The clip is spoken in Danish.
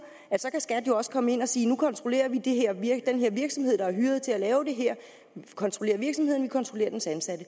at så kan skat jo også komme ind og sige nu kontrollerer vi den virksomhed der er hyret til at lave det her vi kontrollerer virksomheden kontrollerer dens ansatte